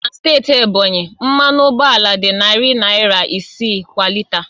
Na steeti Ebonyi, mmanụ ụgbọala dị narị naira isii kwa lita